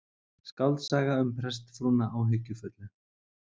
Skáldsaga um prestsfrúna áhyggjufullu